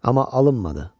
Amma alınmadı.